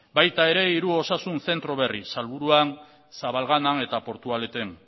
baita ere hiru osasun zentro berri salburuan zabalganan eta portugaleten